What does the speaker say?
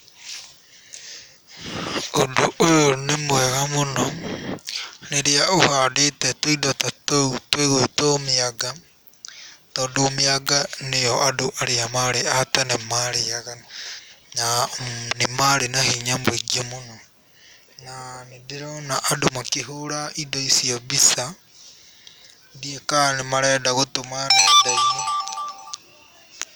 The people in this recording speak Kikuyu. Ũndũ ũyũ nĩ mwega mũno, rĩrĩa ũhandĩte tũindo ta tũu tũgũĩtwo mĩanga, tondũ mĩanga nĩyo andũ arĩa marĩ a tene marĩaga, na nĩ marĩ na hinya mũingĩ mũno, na nĩndĩrona andũ makĩhũra indo icio mbica, ndiũwĩ kana marenda gũtũma nenda-inĩ.